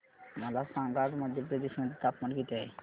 मला सांगा आज मध्य प्रदेश मध्ये तापमान किती आहे